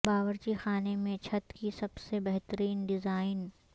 باورچی خانے میں چھت کی سب سے بہترین ڈیزائن